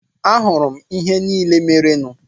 Ahụrụ m ihe niile merenụ.